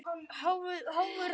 Horfðu. án þess að horfa.